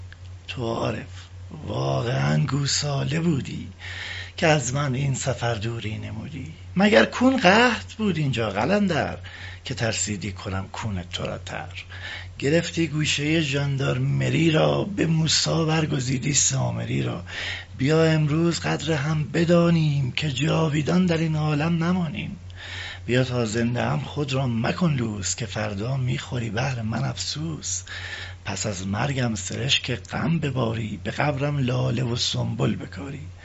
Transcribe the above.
تو عارف واقعا گوساله بودی که از من این سفر دوری نمودی مگر کون قحط بود اینجا قلندر که ترسیدی کنم کون ترا تر گرفتی گوشه ژاندارمری را به موسی برگزیدی سامری را بیا امروز قدر هم بدانیم که جاویدان در این عالم نمانیم بیا تا زنده ام خود را مکن لوس که فردا می خوری بهر من افسوس پس از مرگم سرشک غم بباری به قبرم لاله و سنبل بکاری